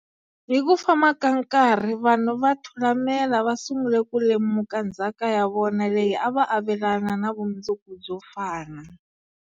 Hi ku famba ka nkarhi, vanhu va Thulamela va sungule ku lemuka ndzhaka ya vona leyi a va avelana na vumundzuku byo fana.